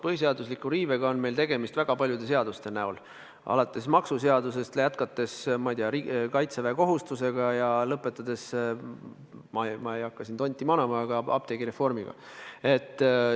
Põhiseaduse riivega on meil tegemist väga paljude seaduste puhul alates maksuseadustest ja jätkates, ma ei tea, kaitseväekohustusega ja lõpetades, ma ei hakka siin küll tonti välja manama, aga apteegireformiga.